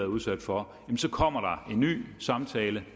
udsat for så kommer der en ny samtale